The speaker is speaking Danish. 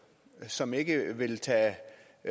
som ikke vil tage